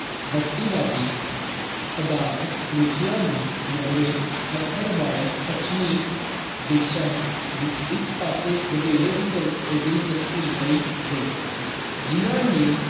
ਬਸਤੀਵਾਦੀ ਪਦਾਰਥਕ ਰੁੱਚੀਆਂ ਨੂੰ ਮੂਹਰੇ ਰੱਖਣ ਵਾਲੇ ਪੱਛਮੀ ਦੇਸਾਂ ਵਿੱਚ ਇਸ ਪਾਸੇ ਵਧੇਰੇ ਦਿਲਚਸ ਦਿਲਚਸਪੀ ਲਈ ਗਈ, ਜਿਹਨਾਂ ਨੇ